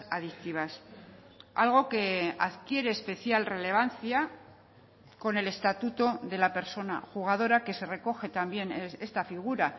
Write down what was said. adictivas algo que adquiere especial relevancia con el estatuto de la persona jugadora que se recoge también esta figura